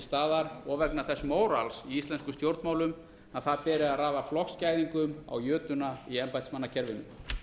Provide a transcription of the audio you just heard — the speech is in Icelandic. staðar og vegna þess mórals í íslenskum stjórnmálum að það beri að raða flokksgæðingum á jötuna í embættismannakerfinu